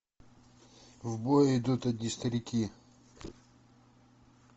в бой идут одни старики